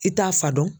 I t'a fa dɔn